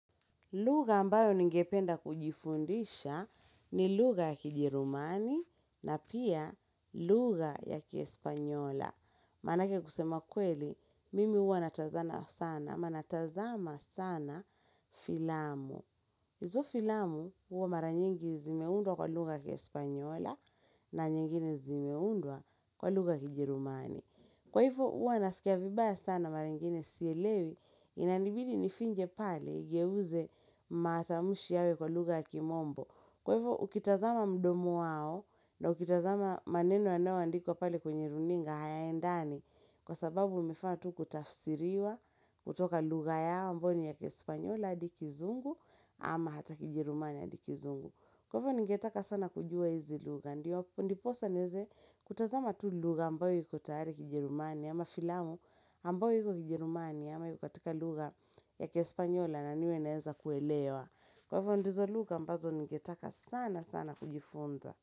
Luga ambayo ningependa kujifundisha ni luga ya kijerumani na pia luga ya kiespanyola. Manake kusema kweli, mimi uwa natazama sana, manatazama sana filamu. Izo filamu uwa mara nyingi zimeundwa kwa luga ya kihispaniola. Na nyingine zimeundwa kwa luga kijerumani. Kwa hivyo uwa nasikia vibaya sana marengine siyelewi inanibidi nifinje pale igewuze matamushi yawe kwa luga ya kimombo. Kwa hivyo ukitazama mdomo wao na ukitazama maneno anewa andikuwa pale kwenye runinga hayaendani kwa sababu umefaa tu kutafsiriwa kutoka luga ya mboni ya kespanyola adi kizungu ama hata kijerumani adi kizungu. Kwa hivyo ningetaka sana kujua hizi luga, ndiwa ndiposa nieze kutazama tu luga ambayo yiko taari kijerumani, ama filamu ambayo yiko kijerumani, ama yiko katika luga ya kihespanyola na niwe naeza kuelewa. Kwa hivyo ndizo luga ambazo ningetaka sana sana kujifunza.